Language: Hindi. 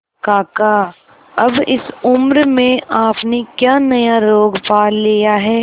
काका अब इस उम्र में आपने क्या नया रोग पाल लिया है